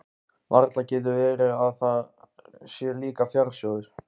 Varla getur verið að þar sé líka fjársjóður?